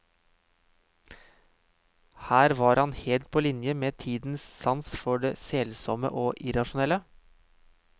Her var han helt på linje med tidens sans for det selsomme og irrasjonelle.